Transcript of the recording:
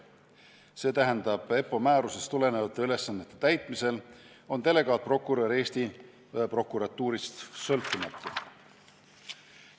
See tähendab, et EPPO määrusest tulenevate ülesannete täitmisel on delegaatprokurör Eesti prokuratuurist sõltumatu.